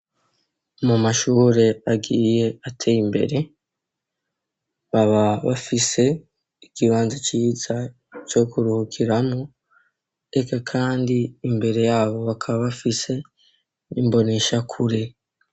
Mu mashure agiye ateye imbere baba bafise igibanza ciza co kurukiramwo ega, kandi imbere yabo bakaba bafise imbonisha kure.